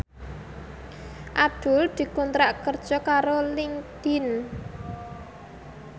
Abdul dikontrak kerja karo Linkedin